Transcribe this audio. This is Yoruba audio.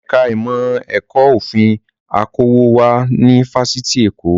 Ẹ̀ka ìmọ̀ ẹ̀kọ́ òfin okòwò wà ní Fáṣítì Èkó